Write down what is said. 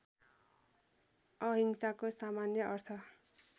अहिंसाको सामान्य अर्थ